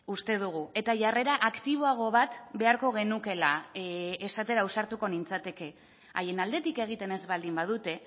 uste dugu eta jarrera aktiboago bat beharko genukeela esatera ausartuko nintzateke haien aldetik egiten ez baldin badute